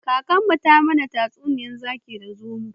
Kakanmu ta mana tatsuniyar zaki da zomo